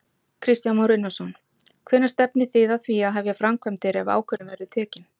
Kristján Már Unnarsson: Hvenær stefnið þið að því að hefja framkvæmdir ef ákvörðun verður tekin?